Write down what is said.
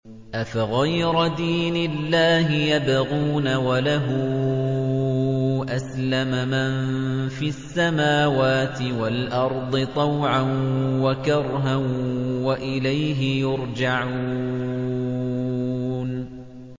أَفَغَيْرَ دِينِ اللَّهِ يَبْغُونَ وَلَهُ أَسْلَمَ مَن فِي السَّمَاوَاتِ وَالْأَرْضِ طَوْعًا وَكَرْهًا وَإِلَيْهِ يُرْجَعُونَ